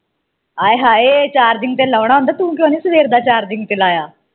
ਆਏ ਹਾਏ charging ਤੇ ਲਾਉਣਾ ਹੁੰਦਾ ਤੂੰ ਕਿਉਂ ਨਹੀਂ ਸਵੇਰ ਦਾ charging ਤੇ ਲਾਇਆ